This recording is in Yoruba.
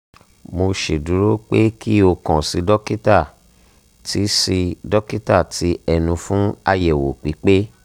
mo ṣeduro pe ki o kan si dokita ti si dokita ti ẹnu fun ayewo pipe